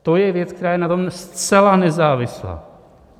To je věc, která je na tom zcela nezávislá.